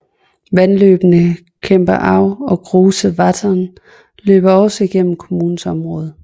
Vandløbene Kremper Au og Große Wettern løber også gennem kommunens område